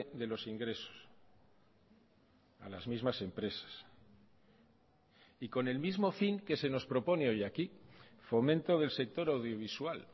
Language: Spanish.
de los ingresos a las mismas empresas y con el mismo fin que se nos propone hoy aquí fomento del sector audiovisual